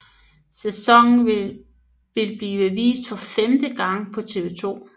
Sæsonen vil blive vist for femte gang på TV 2